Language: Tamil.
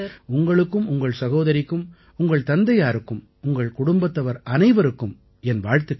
உங்களுக்கும் உங்கள் சகோதரிக்கும் உங்கள் தந்தையாருக்கும் உங்கள் குடும்பத்தவர் அனைவருக்கும் என் வாழ்த்துக்கள்